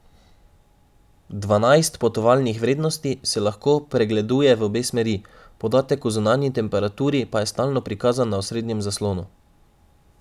Dvanajst potovalnih vrednosti se lahko pregleduje v obe smeri, podatek o zunanji temperaturi pa je stalno prikazan na osrednjem zaslonu.